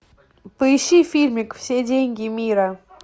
поищи фильмик все деньги мира